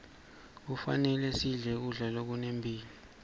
kufanele sidle kudla lokunemphilo